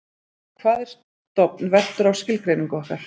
hvað er stofn veltur á skilgreiningu okkar